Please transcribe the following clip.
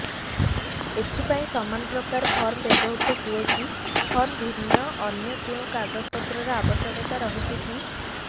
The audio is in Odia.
ଏଥିପାଇଁ ସମାନପ୍ରକାର ଫର୍ମ ବ୍ୟବହୃତ ହୂଏକି ଫର୍ମ ଭିନ୍ନ ଅନ୍ୟ କେଉଁ କାଗଜପତ୍ରର ଆବଶ୍ୟକତା ରହିଛିକି